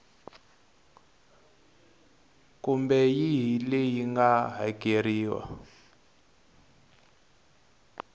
kumbe yihi leyi nga hakeriwa